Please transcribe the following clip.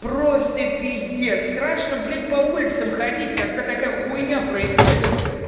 просто пиздец страшно блять по улицам ходить когда такая хуйня происходит